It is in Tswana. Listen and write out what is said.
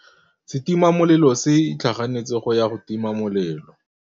Setima molelô se itlhaganêtse go ya go tima molelô.